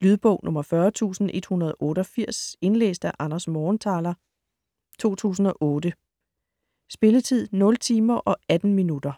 Lydbog 40188 Indlæst af Anders Morgenthaler, 2008. Spilletid: 0 timer, 18 minutter.